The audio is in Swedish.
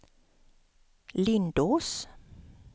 Lindås